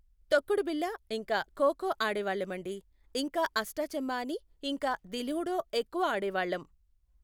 తొక్కుడు బిళ్ళ ఇంకా ఖోఖో ఆడేవాళ్ళమండి, ఇంకా అష్టాచమ్మా అని ఇంకా ది లూడో ఎక్కువ ఆడేవాళ్ళం.